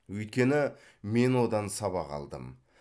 өйткені мен одан сабақ алдым